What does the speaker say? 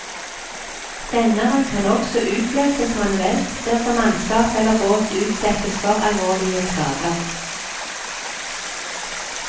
Senderen kan også utløses manuelt dersom mannskap eller båt utsettes for alvorlige skader.